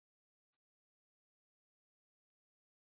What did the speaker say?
Hvað voru mörg íslensk félög sem höfðu samband?